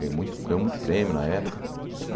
Ganhou muito ganhou muito prêmio na época.